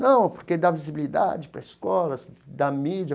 Não, porque dá visibilidade para as escolas, dá mídia.